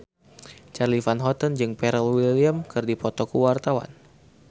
Charly Van Houten jeung Pharrell Williams keur dipoto ku wartawan